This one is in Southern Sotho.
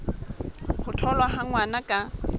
ho tholwa ha ngwana ka